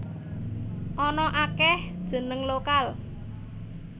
Ana akéh jeneng lokal